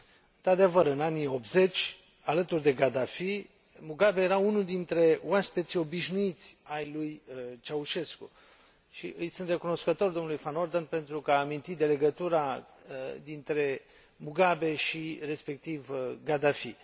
Într adevăr, în anii '80, alături de Gaddafi, Mugabe era unul dintre oaspeții obișnuiți ai lui Ceaușescu și îi sunt recunoscător domnului Van Orden pentru că a amintit de legătura dintre Mugabe și, respectiv, Gaddafi.